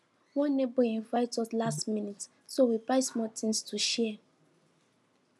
one neighbor invite us last minute so we buy small things to share